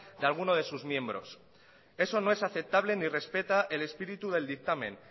de alguno de sus miembros eso no es aceptable ni respeta el espíritu del dictamen